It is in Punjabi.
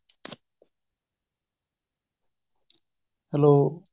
hello